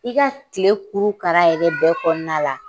I ka tile kuurukaara yɛrɛ bɛɛ kɔnɔna la